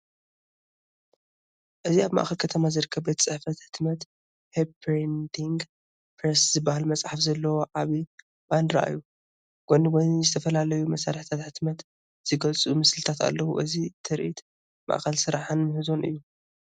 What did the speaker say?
እዚ ኣብ ማእከል ከተማ ዝርከብ ቤት ጽሕፈት ሕትመት፡ ‘ሆፕ ፕሪንቲንግ ፕረስ’ ዝብል ጽሑፍ ዘለዎ ዓቢ ባነርእዩ። ጎኒ ጎኒ ዝተፈላለዩ መሳርሒታት ሕትመት ዝገልጹ ምስልታት ኣለው። እዚ ትርኢት ማእከል ስራሕን ምህዞን እዩ።